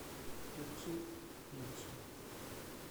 включи ичи